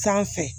Sanfɛ